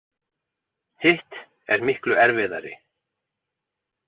Hitt er miklu erfiðari.